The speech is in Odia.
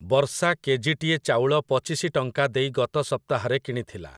ବର୍ଷା କେଜିଟିଏ ଚାଉଳ ପଚିଶି ଟଙ୍କା ଦେଇ ଗତ ସପ୍ତାହରେ କିଣିଥିଲା ।